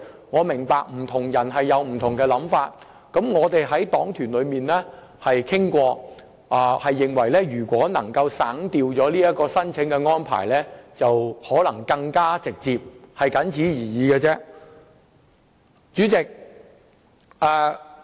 我明白不同人有不同想法，我們在黨團中亦曾進行討論，認為省掉這項申請安排，可能會令效果更加直接。